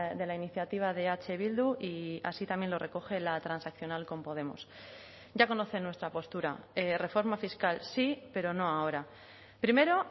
de la iniciativa de eh bildu y así también lo recoge la transaccional con podemos ya conocen nuestra postura reforma fiscal sí pero no ahora primero